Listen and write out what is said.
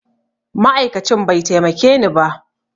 Ma'aikacin bai taimakeni ba